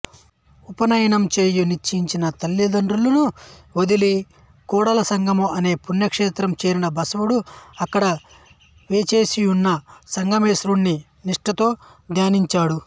ఉపనయనం చేయ నిశ్చయించిన తల్లిదండ్రులను వదలి కూడలసంగమ అనే పుణ్యక్షేత్రం చేరిన బసవుడు అక్కడ వేంచేసియున్న సంగమేశ్వరుణ్ణి నిష్టతో ధ్యానించాడు